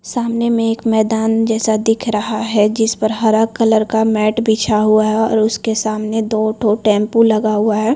सामने में एक मैदान जैसा दिख रहा है जिस पर हरा कलर का मैट बिछा हुआ है और उसके सामने दो तो टेंपो लगा हुआ है।